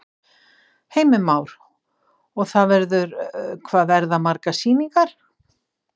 Heimir Már: Og það verður, hvað verða margar sýningar?